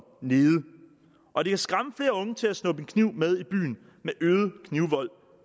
nede og det kan skræmme flere unge til at snuppe en kniv med i byen med øget knivvold